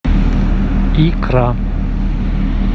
икра